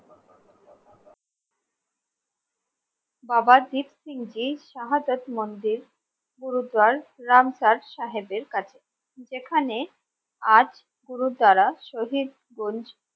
বাবা দ্বীপ সিং জী সাহাজাত মন্দির গুরুদুয়ার রামচাঁদ সাহেবের কাছে যেখানে আজ পুরো যারা শহীদ